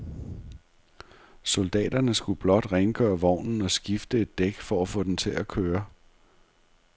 Soldaterne skulle blot rengøre vognen og skifte et dæk for at få den til at køre.